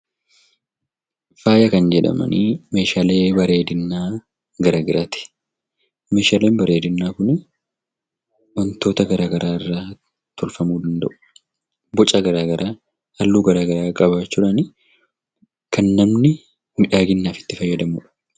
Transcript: Faaya kan jedhaman meeshaalee bareedinaa garaa garaati. Meeshaaleen bareedinaa kun wantoota garaa garaa irraa tolfamuu danda'u. Bocaa fi halluu garaa garaa qabaachuudhaan kan namni miidhaginaaf itti fayyadamudha.